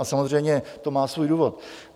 A samozřejmě to má svůj důvod.